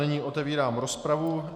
Nyní otvírám rozpravu.